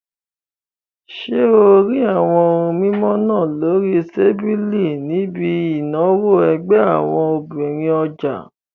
Ṣé o rí àwọn ohun mímu náà lórí tábìlì níbi ìnáwó ẹgbẹ́ àwọn obìnrin ọjà?